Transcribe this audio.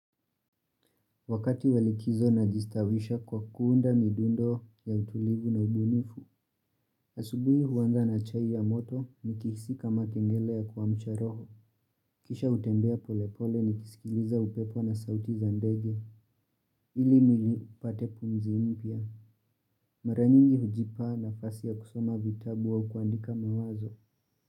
Wakati wa likizo najistavisha kwa kuunda midundo ya utulivu na ubunifu. Asubuhi huwanza na chai ya moto nikihisika makengele ya kwa mcharoho. Kisha hutembea polepole nikisikiliza upepo na sauti za ndege. Ili mwili upate pumzi mpya. Mara nyingi hujipa nafasi ya kusoma vitabu au kuandika mawazo.